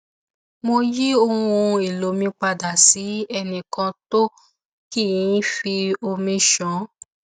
mo yí ohun èlò mi padà sí ẹnìkan tó kì í fi omi ṣàn